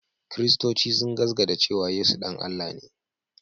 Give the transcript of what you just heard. Kiristoci sun gasgaata cewa Yesu ɗan Allah ne